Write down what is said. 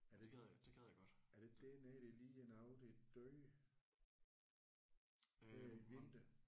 Er det ikke er det ikke dernede der lige er nogen der er døde? Her i vinter?